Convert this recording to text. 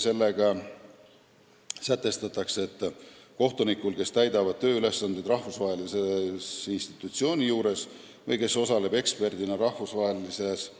Sellega sätestatakse, et kohtunikul, kes täidab tööülesandeid rahvusvahelise institutsiooni juures või kes osaleb eksperdina rahvusvahelises